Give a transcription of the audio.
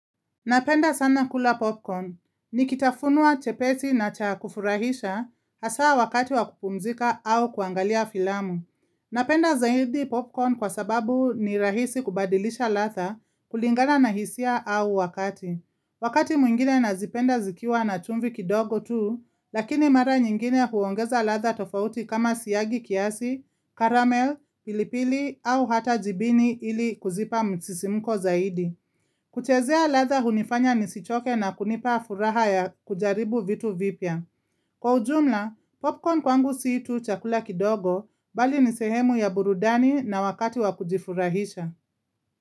Napenda sana kula popcorn. Nikitafunwa chepesi na chakufurahisha hasa wakati wa kupumzika au kuangalia filamu. Napenda zaidi popcorn kwa sababu ni rahisi kubadilisha ladha kulingana na hisia au wakati. Wakati mwingine nazipenda zikiwa na chumvi kidogo tuu, lakini mara nyingine huongeza ladha tofauti kama siagi kiasi, caramel, pilipili au hata jibini ili kuzipa msisimuko zaidi. Kuchezea ladha hunifanya nisichoke na kunipa furaha ya kujaribu vitu vipya. Kwa ujumla, popcorn kwangu siitu chakula kidogo bali nisehemu ya burudani na wakati wakujifurahisha.